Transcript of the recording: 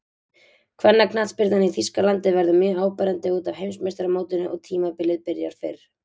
Kvennaknattspyrnan í Þýskalandi verður mjög áberandi útaf Heimsmeistaramótinu og tímabilið byrjar fyrr.